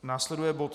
Následuje bod